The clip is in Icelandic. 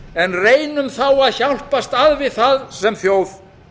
en reynum þá að hjálpast að við það sem þjóð